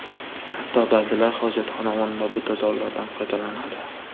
Hatto ba’zilar hojatxona o‘rnida butazorlardan foydalanadi.